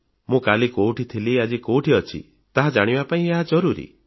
ମୁଁ କାଲି କେଉଁଠି ଥିଲି ଆଜି କେଉଁଠି ଅଛି ତାହା ଜାଣିବା ପାଇଁ ଏହା ଜରୁରୀ